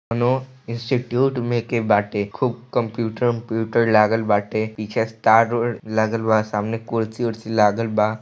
कोनो इंस्टिट्यूट में के बाटे खूब कंप्यूटर उप्यूटर लागल बाटे पीछे स्टार र लगल बा सामने कुर्सी उर्सी लागल बा।